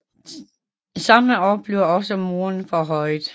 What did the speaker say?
Samme år blev også murene forhøjet